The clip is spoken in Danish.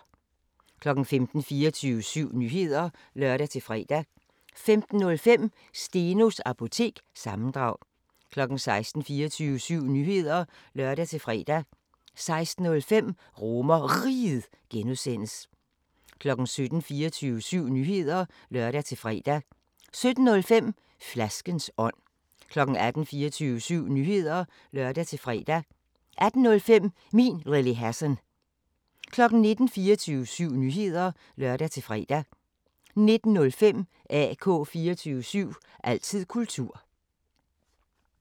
15:00: 24syv Nyheder (lør-fre) 15:05: Stenos Apotek – sammendrag 16:00: 24syv Nyheder (lør-fre) 16:05: RomerRiget (G) 17:00: 24syv Nyheder (lør-fre) 17:05: Flaskens ånd 18:00: 24syv Nyheder (lør-fre) 18:05: Min Lille Hassan 19:00: 24syv Nyheder (lør-fre) 19:05: AK 24syv – altid kultur